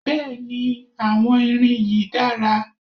Bẹ́ẹ̀ni àwọn irin yìí dára